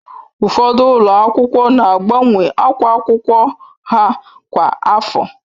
Ụfọdụ ụlọ akwụkwọ na agbanwe akwa akwụkwọ ha kwa afọ